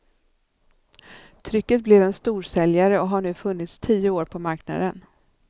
Trycket blev en storsäljare och har nu funnits tio år på marknaden.